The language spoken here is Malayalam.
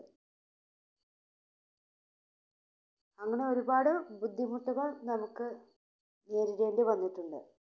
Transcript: അന്ന് ഒരുപാട് ബുദ്ധിമുട്ടുകൾ നമുക്ക് നേരിടേണ്ടി വന്നിട്ടുണ്ട്.